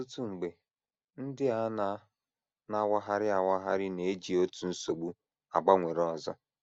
Ọtụtụ mgbe, ndị a na - na - awagharị awagharị na - eji otu nsogbu agbanwere ọzọ.